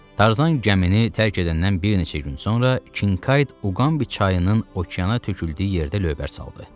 Tarzan gəmini tərk edəndən bir neçə gün sonra Kinkayd Uqambi çayının okeana töküldüyü yerdə lövbər saldı.